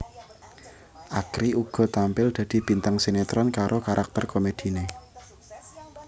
Akri uga tampil dadi bintang sinetron karo karakter komediné